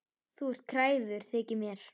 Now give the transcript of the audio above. Þú ert kræfur, þykir mér.